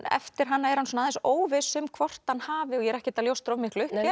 eftir hana er hann aðeins óviss um hvort hann hafi og ég er ekkert að ljóstra of miklu upp